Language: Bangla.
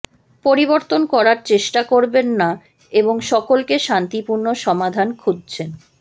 পরিবর্তন করার চেষ্টা করবেন না এবং সকলকে শান্তিপূর্ণ সমাধান খুঁজছেন